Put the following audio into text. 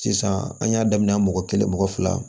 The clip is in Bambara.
Sisan an y'a daminɛ mɔgɔ kelen mɔgɔ fila